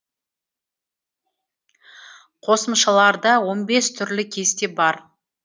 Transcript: қосымшаларда он бес түрлі кесте бар